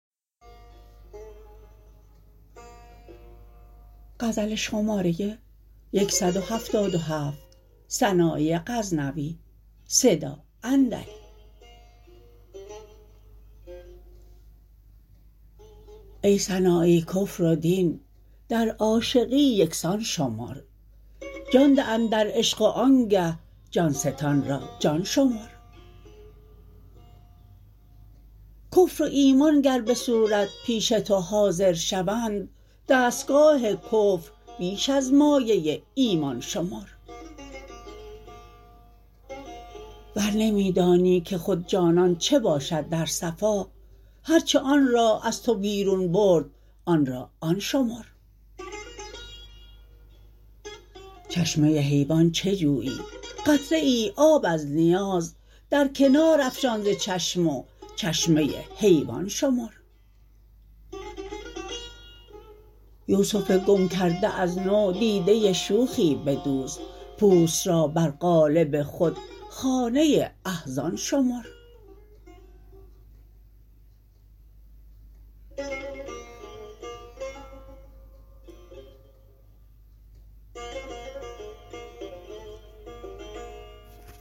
ای سنایی کفر و دین در عاشقی یکسان شمر جان ده اندر عشق و آنگه جان ستان را جان شمر کفر و ایمان گر به صورت پیش تو حاضر شوند دستگاه کفر بیش از مایه ایمان شمر ور نمی دانی که خود جانان چه باشد در صفا هر چه آن را از تو بیرون برد آن را آن شمر چشمه حیوان چه جویی قطره ای آب از نیاز در کنار افشان ز چشم و چشمه حیوان شمر یوسف گم کرده از نو دیده شوخی بدوز پوست را بر قالب خود خانه احزان شمر